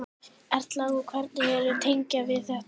Erla: Og hvernig ertu að tengja við þetta?